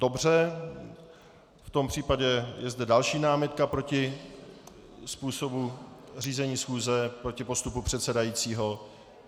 Dobře, v tom případě je zde další námitka proti způsobu řízení schůze, proti postupu předsedajícího.